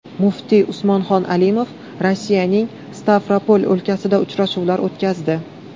Muftiy Usmonxon Alimov Rossiyaning Stavropol o‘lkasida uchrashuvlar o‘tkazdi.